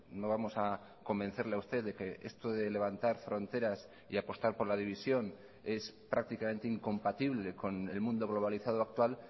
no vamos a convencerle a usted de que esto de levantar fronteras y apostar por la división es prácticamente incompatible con el mundo globalizado actual